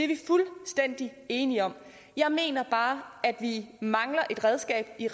vi fuldstændig enige om jeg mener bare at vi mangler et redskab i